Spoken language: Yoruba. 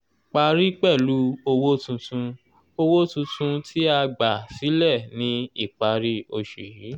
parí pẹ̀lú owó tuntun owó tuntun tí a gbà sílẹ̀ ní ìparí oṣù yìí.